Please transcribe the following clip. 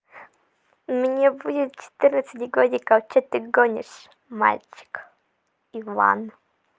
мне будет четырнадцать годиков что ты гонишь мальчик иван